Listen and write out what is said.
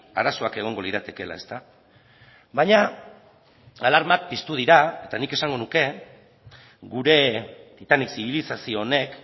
arazoak egongo liratekeela baina alarmak piztu dira eta nik esango nuke gure titanik zibilizazio honek